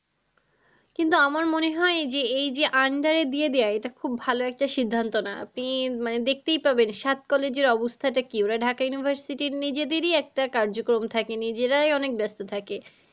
কিন্তু আমার মনে হয় যে এই যে under এ দিয়ে দেওয়া এটা খুব ভালো একটা সিদ্ধান্ত না। আপনি মানে দেখতেই পাবেন সাত college এর অবস্থাটা কি ওরা ঢাকা university র নিজেদেরই একটা কার্যকম থাকে নিজেরাই অনেক ব্যস্ত থাকে।